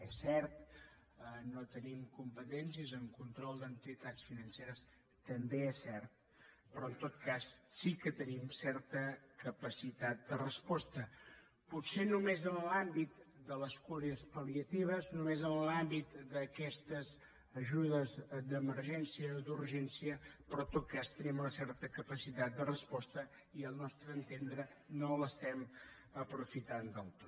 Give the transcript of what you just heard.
és cert no tenim competències en control d’entitats financeres també és cert però en tot cas sí que tenim certa capacitat de resposta potser només en l’àmbit de les cures pal·liatives només en l’àmbit d’aquestes ajudes d’emergència o d’urgència però en tot cas tenim una certa capacitat de resposta i al nostre entendre no l’estem aprofitant del tot